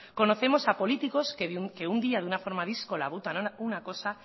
conocemos a políticos que un día de una forma díscola votan una cosa